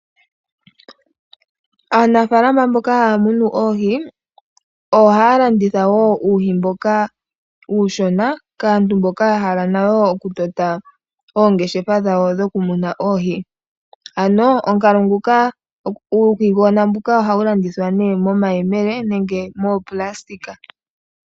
Aanafaalama mboka haya munu oohi . Ohaya landitha woo uuhi mboka uushona kaantu mboka yahala nayo oku tota oongeshefa dhawo dhoku muna oohi. Ano uuhigona mbuka ohawu landithwa nee nomayemele noshoo woo moopulasitika.